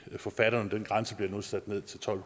forfatterne den grænse bliver nu sat ned til tolv